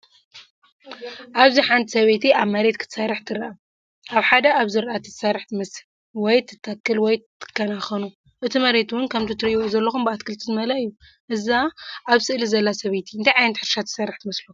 ኣብዚ ሓንቲ ሰበይቲ ኣብ መሬት ክትሰርሕ ትረአ። ኣብ ሓደ ኣብ ዝራእታ ትሰርሕ ትመስል፡ ወይ ትተክል ወይ ትከናኸኖ። እቲ መሬት እውን ከምቲ ትርእይዎ ዘለኹም ብኣትክልቲ ዝመልአ እዩ። እዛ ኣብ ስእሊ ዘላ ሰበይቲ እንታይ ዓይነት ሕርሻ ትስርሕ ትመስለኩም?